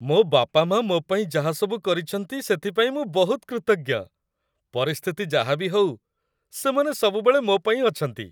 ମୋ' ବାପାମାଆ ମୋ' ପାଇଁ ଯାହାସବୁ କରିଛନ୍ତି ସେଥିପାଇଁ ମୁଁ ବହୁତ କୃତଜ୍ଞ । ପରିସ୍ଥିତି ଯାହା ବି ହଉ, ସେମାନେ ସବୁବେଳେ ମୋ ପାଇଁ ଅଛନ୍ତି ।